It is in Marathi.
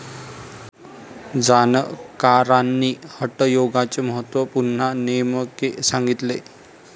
जाणकारांनी हटयोगाचे महत्व पुन्हा नेमके सांगितले.